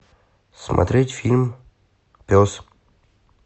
смотреть фильм пес